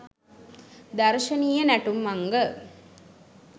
දර්ශනීය නැටුම් අංග